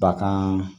Bagan